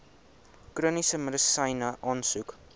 chroniese medisyne aansoek